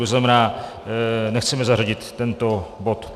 To znamená, nechceme zařadit tento bod.